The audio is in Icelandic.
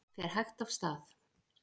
Fer hægt af stað